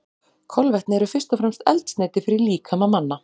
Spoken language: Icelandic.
Kolvetni eru fyrst og fremst eldsneyti fyrir líkama manna.